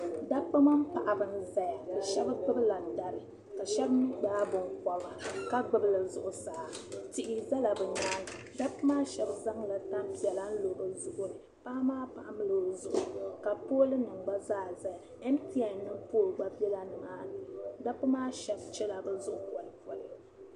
Dabba mini paɣabi n zaya ka shɛbi gbubi landari ka shɛbi mi gbaai binkoba ka gbubili zuɣu saa tihi zala bi nyaaŋa dabbi maa shɛb zaŋ la tanpiɛla n lo bɛ zuɣu ni paɣa maa pamla o zuɣu ka poolinim gba zaa zaya mtn nim pool gba be nimaa ni dabbi maa shɛbi chɛla bɛ zuɣu kolikoli.